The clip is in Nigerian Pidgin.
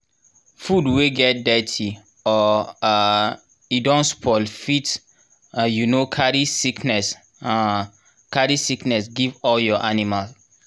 food wey get dirty or um e don spoil fit um carry sickness um carry sickness give all your animal